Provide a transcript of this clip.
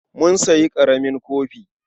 Mun sayi ƙaramin kofi.